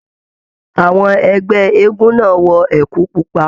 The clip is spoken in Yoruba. Àwọn ẹgbẹ eégún náà wọ ẹkú pupa.